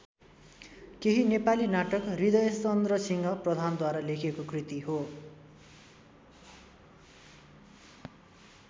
केही नेपाली नाटक हृदयचन्द्रसिंह प्रधानद्वारा लेखिएको कृति हो।